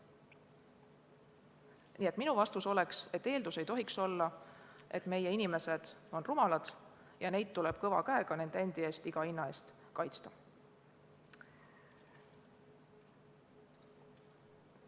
Nii et minu vastus on selline: me ei tohiks eeldada, et meie inimesed on rumalad ja neid tuleb kõva käega nende endi eest iga hinna eest kaitsta.